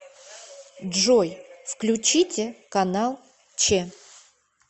джой включите канал че